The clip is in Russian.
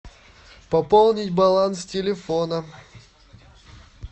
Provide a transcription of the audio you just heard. пополнить баланс телефона